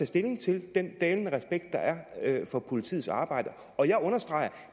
stilling til den dalende respekt der er for politiets arbejde og jeg understreger